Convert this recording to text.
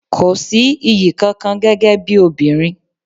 Kò sí iyì kankan gẹ́gẹ́ bí obìnrin.